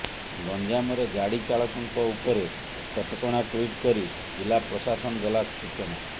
ଗଞ୍ଜାମରେ ଗାଡି ଚାଳକଙ୍କ ଉପରେ କଟକଣା ଟୁଇଟ୍ କରି ଜିଲ୍ଲା ପ୍ରଶାସନ ଦେଲା ସୂଚନା